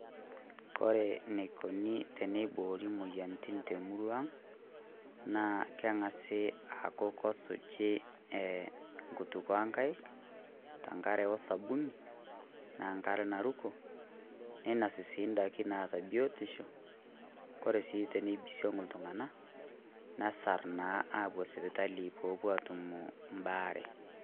Ore ene kuni teniboori imoyiaritin te murua ang' naa keng'asi aaku kesuji enkutukuo ok nkaik te nk'are osabuni naa enk'are naruko, neinosi sii idaiki naata biotisho ore sii tenibisong' iltung'anak nesarr naa aapuo sipitali peepuo aatum ebaare.